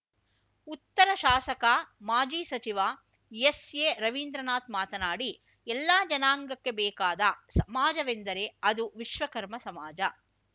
ಉತ್ತರ ಶಾಸಕ ಮಾಜಿ ಸಚಿವ ಎಸ್‌ಎರವಿಂದ್ರನಾಥ್ ಮಾತನಾಡಿ ಎಲ್ಲಾ ಜನಾಂಗಕ್ಕೆ ಬೇಕಾದ ಸಮಾಜವೆಂದರೆ ಅದು ವಿಶ್ವಕರ್ಮ ಸಮಾಜ